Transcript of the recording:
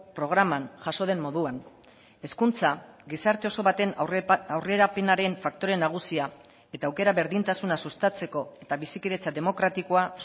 programan jaso den moduan hezkuntza gizarte oso baten aurrerapenaren faktoreen nagusia eta aukera berdintasuna sustatzeko eta bizikidetza demokratikoa